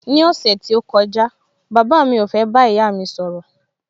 Ní ọ̀sẹ̀ tí ó kọjá, bàbá mi ò fẹ́ bá ìyá mi sọ̀rọ̀